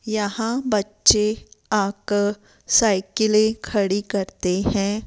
यहां बच्चे आकर साइकिलें खड़ी करते हैं।